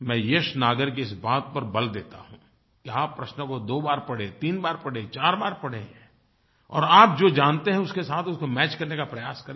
मैं यश नागर की इस बात पर बल देता हूँ कि आप प्रश्नों को दो बार पढ़ें तीन बार पढ़ें चार बार पढ़ें और आप जो जानते हैं उसके साथ उसको मैच करने का प्रयास करें